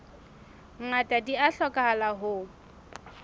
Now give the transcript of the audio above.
ngata di a hlokahala ho